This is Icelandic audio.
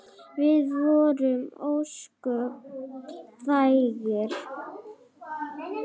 Við vorum ósköp þægir.